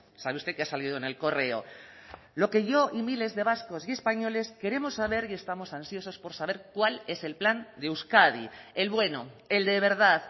sabe usted que ha salido en el correo lo que yo y miles de vascos y españoles queremos saber y estamos ansiosos por saber cuál es el plan de euskadi el bueno el de verdad